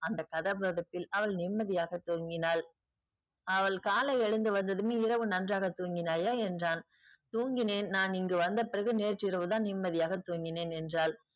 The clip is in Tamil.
அந்த கதகதப்பில் அவள் நிம்மதியாக தூங்கினாள். அவள் காலை எழுந்து வந்ததும் இரவு நன்றாக தூங்கினாயா என்றான். தூங்கினேன் நான் இங்கு வந்த பிறகு நேற்று இரவு தான் நிம்மதியாக தூங்கினேன் என்றாள்.